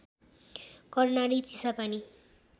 Karnali Chisapani